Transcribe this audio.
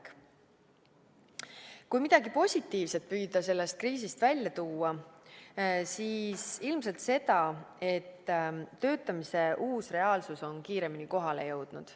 Kui püüda midagi positiivset sellest kriisist välja tuua, siis ilmselt seda, et töötamise uus reaalsus on kiiremini kohale jõudnud.